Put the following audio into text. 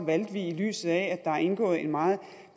valgte vi i lyset af at der er indgået en meget